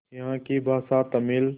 यहाँ की भाषा तमिल